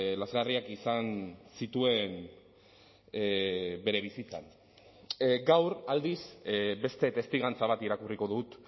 lazgarriak izan zituen bere bizitzan gaur aldiz beste testigantza bat irakurriko dut